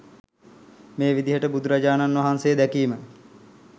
මේ විදියට බුදුරජාණන් වහන්සේ දැකීම